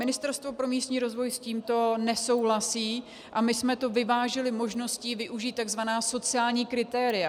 Ministerstvo pro místní rozvoj s tímto nesouhlasí a my jsme to vyvážili možností využít tzv. sociální kritéria.